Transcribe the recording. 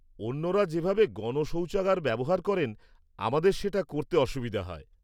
অন্যরা যেভাবে গণ শৌচাগার ব্যবহার করেন আমাদের সেটা করতে অসুবিধে হয়।